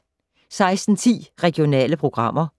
16:10: Regionale programmer